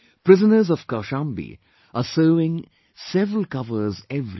Prisoners of Kaushambi are sewing several covers every week